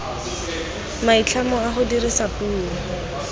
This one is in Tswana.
maitlhomo a go dirisa puo